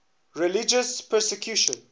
religious persecution